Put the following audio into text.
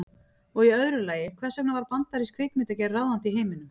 Og í öðru lagi, hvers vegna varð bandarísk kvikmyndagerð ráðandi í heiminum?